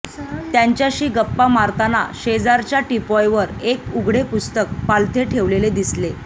त्यांच्याशी गप्पा मारताना शेजारच्या टीपॉयवर एक उघडे पुस्तक पालथे ठेवलेले दिसले